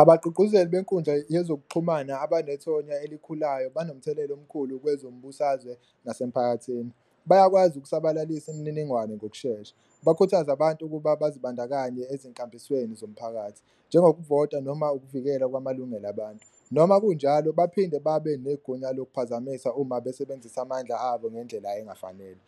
Abagqugquzeli benkundla yezokuxhumana abanethonya elikhulayo banomthelela omkhulu kwezombusazwe nasemphakathini, bayakwazi ukusabalalisa imininingwane ngokushesha, bakhuthaze abantu ukuba bazibandakanye ezinkambisweni zomphakathi njengokuvota noma ukuvikelwa kwamalungelo abantu. Noma kunjalo baphinde babe negunya lokuphazamisa uma besebenzisa amandla abo ngendlela engafanele,